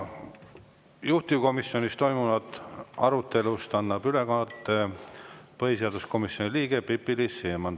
Juhtivkomisjonis toimunud arutelust annab ülevaate põhiseaduskomisjoni liige Pipi-Liis Siemann.